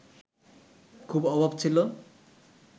খুব অভাব ছিল